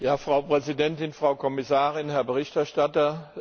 Frau Präsidentin, Frau Kommissarin, Herr Berichterstatter!